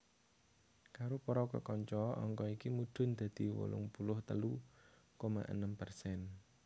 Karo para kekanca angka iki mudhun dadi wolung puluh telu koma enem persen